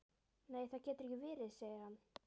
Nei það getur ekki verið, segir hann.